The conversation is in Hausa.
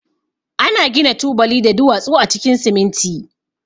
Ana gina tubali da duwatsu a cikin siminti.